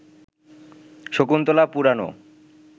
শকুন্তলা পুরানো